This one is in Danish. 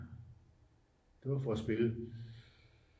det for at spille